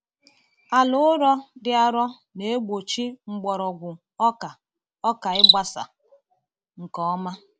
Ala ụrọ dị arọ na-egbochi mgbọrọgwụ ọka ọka ịgbasa nke ọma.